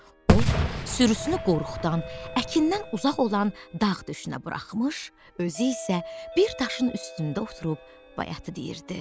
O, sürüsünü qoruqdan, əkindən uzaq olan dağ düşünə buraxmış, özü isə bir daşın üstündə oturub bayatı deyirdi.